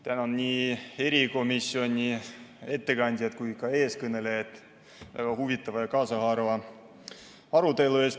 Tänan nii erikomisjoni ettekandjat kui ka eelkõnelejat väga huvitava ja kaasahaarava arutelu eest.